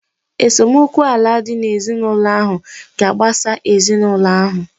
Esemokwu ala dị n'ezinụlọ ahụ ga-agbasa ezinụlọ ahụ.